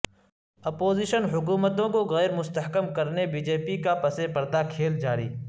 opposition حکومتوں کو غیرمستحکم کرنے بی جے پی کا پس پردہ کھیل جاری